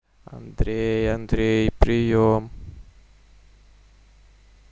андрей андрей приём